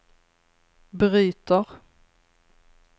bryter